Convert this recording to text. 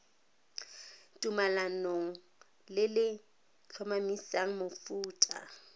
tumalanong le le tlhomamisang mofuta